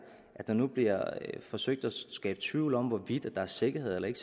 at der nu bliver forsøgt at skabe tvivl om hvorvidt der er sikkerhed eller ikke